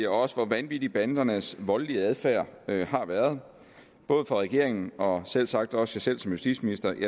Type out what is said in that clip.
også hvor vanvittig bandernes voldelige adfærd har været både for regeringen og selvsagt også selv som justitsminister